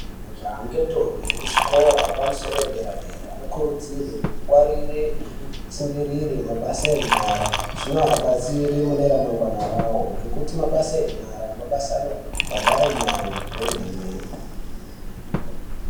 Zvangendombi muzvikora zvepamusoro dera dera kurudzirwe kungwarire ngekutaungurire mabasa enyara zvinoabatsire mune remangwana rawo Ngekuti mabasa enyara mabasa anobhadhare mare kwemene.